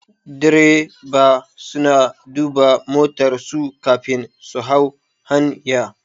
Direba suna duba motar su kafin su hau hanya